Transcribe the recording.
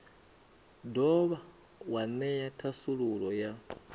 dovha wa ṅea thasululo ya